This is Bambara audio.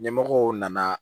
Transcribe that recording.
Ɲɛmɔgɔw nana